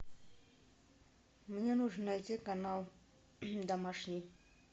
мне нужно найти канал домашний